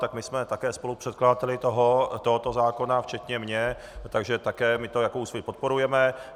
Tak my jsme také spolupředkladateli tohoto zákona, včetně mě, takže také my to jako Úsvit podporujeme.